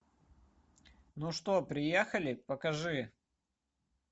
ну что приехали покажи